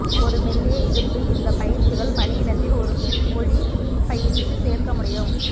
ஒரு மெல்லிய இடுப்பு இந்த பயிற்சிகள் பணியிடத்தில் ஒரு ஒளி பயிற்சி சேர்க்க முடியும்